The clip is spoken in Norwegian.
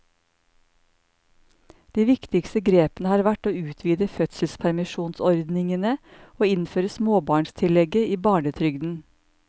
De viktigste grepene har vært å utvide fødselspermisjonsordningene og innføre småbarnstillegget i barnetrygden.